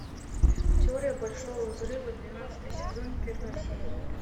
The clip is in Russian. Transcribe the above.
теория большого взрыва двенадцатый сезон первая серия